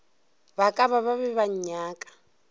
ba ka be ba nnyaka